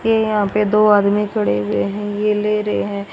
ये यहां पे दो आदमी खड़े हुए हैं ये ले रहे हैं।